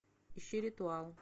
ищи ритуал